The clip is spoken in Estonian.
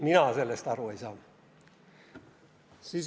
Mina sellest aru ei saa.